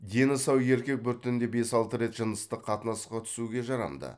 дені сау еркек бір түнде бес алты рет жыныстық қатынасқа түсуге жарамды